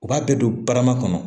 U b'a bɛɛ don barama kɔnɔ